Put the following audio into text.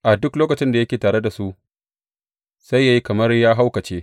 A duk lokacin da yake tare da su, sai yă yi kamar ya haukace.